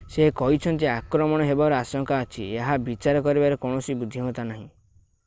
ସେ କହିଛନ୍ତି ଆକ୍ରମଣ ହେବାର ଆଶଙ୍କା ଅଛି ଏହା ବିଚାର କରିବାରେ କୌଣସି ବୁଦ୍ଧିମତା ନାହିଁ